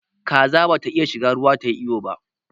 Kaza ba ta iya shiga ruwa tayi iyo ba